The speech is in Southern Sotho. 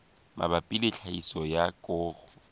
mabapi le tlhahiso ya koro